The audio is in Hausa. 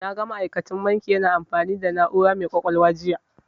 Na ga ma'aikacin banki na amfani da na'ura mai ƙwaƙwalwa jiya.